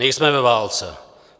Nejsme ve válce.